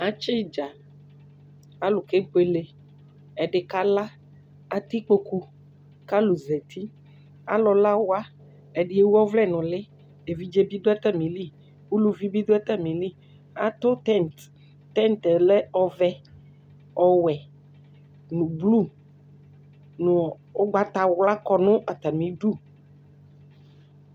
Atsɩ idzǝ, alu kebwele, ɛdɩ kala Atɛ ikpoku kʊ alʊ zati Alʊlawa, ɛdi wu ɔvlɛ nʊ ʊlɩ Evidze bi dʊ atamili Uluvi bi dʊ atamili Atʊ tẽt Tẽt lɛ ɔvɛ, ɔwɛ nʊ blu nʊ ʊgbatawla kɔ nʊ atami udu